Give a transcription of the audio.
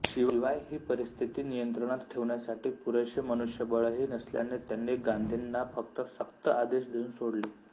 शिवाय ही परिस्थिती नियंत्रणात ठेवण्यासाठी पुरेसे मनुष्यबळही नसल्याने त्यांनी गांधींना फक्त सक्त आदेश देऊन सोडले